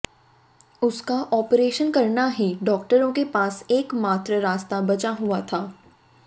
उसका ऑपरेशन करना ही डॉक्टरों के पास एक मात्र रास्ता बचा हुआ था